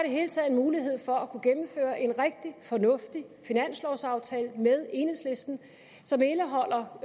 hele taget en mulighed for at kunne gennemføre en rigtig fornuftig finanslovsaftale med enhedslisten som indeholder